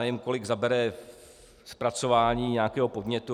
Nevím, kolik zabere zpracování nějakého podnětu.